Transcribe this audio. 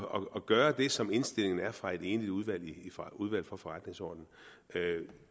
og gøre det som indstillingen er fra et enigt udvalg enigt udvalg for forretningsordenen